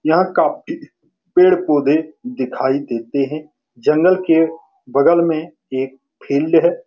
यहां काफी पेड़-पौधे दिखाई देते हैं जंगल के बगल में एक फील्ड है।